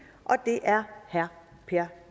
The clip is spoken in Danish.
og det er herre per